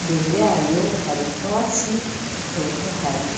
imbere yayo hari utwatsi dutotahaye